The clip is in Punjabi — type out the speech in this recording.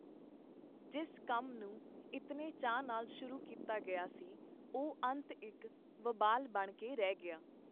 ਜਿਸ ਕੰਮ ਨੂੰ ਇਤਨੇ ਚਾਅ ਨਾਲ ਸ਼ੁਰੂ ਕੀਤਾ ਗਿਆ ਸੀ, ਉਹ ਅੰਤ ਇਕ ਵਬਾਲ ਬਣ ਕੇ ਰਹਿ ਗਿਆ.